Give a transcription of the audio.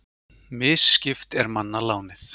Misskipt er manna lánið.